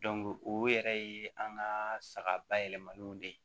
o yɛrɛ ye an ka saga bayɛlɛmaniw de ye